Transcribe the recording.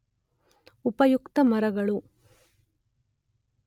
ಉಪಯುಕ್ತ ಮರಗಳು